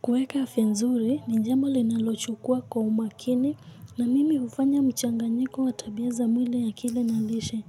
Kuweka afya nzuri ni jambo ninalochukua kwa umakini na mimi hufanya mchanganyiko wa tabia za mwili akili na lishe.